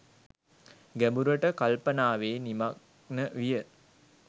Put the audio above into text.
ගැඹුරට කල්පනාවේ නිමග්න විය.